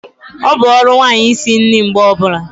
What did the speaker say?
Ọ bụ ọrụ nwanyị isi nri mgbe ọbula